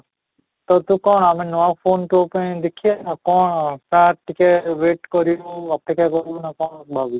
ତ ତୁ କଣ ଆମେ ନୂଆ phone ତୋ ପାଇଁ ଦେଖିଦେବା କ'ଣ ନା ଟିକେ wait କରିବୁ ଅପେକ୍ଷା କରିବୁ ନା କ'ଣ ଭାବିଛୁ?